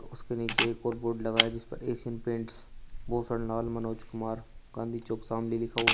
उसके नीचे एक और बोर्ड लगा है जीस पर एशियन पेंट्स भूषण लाल मनोज कुमार गांधी चौक शामली लिखा हुआ--